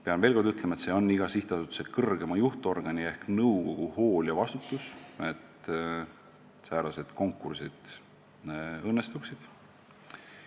" Pean veel kord ütlema, et see on iga sihtasutuse kõrgema juhtorgani ehk nõukogu hool ja vastutus, et säärased konkursid õnnestuksid.